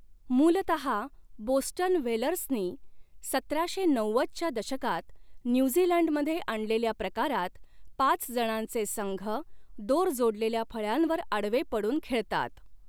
मूलतहा Boston व्हेलर्सनी सतराशे नव्वदच्या दशकात न्यूझीलंडमध्ये आणलेल्या प्रकारात, पाचजणांचे संघ, दोर जोडलेल्या फळ्यांवर आडवे पडून खेळतात.